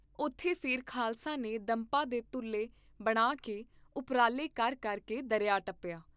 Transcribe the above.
ਓਥੇ ਫੇਰ ਖਾਲਸੇ ਨੇ ਦੰਭਾਂ ਦੇ ਤੁਲ੍ਹੇ ਬਣਾ ਕੇ ਉਪਰਾਲੇ ਕਰ ਕਰ ਕੇ ਦਰਿਆ ਟੱਪਿਆ।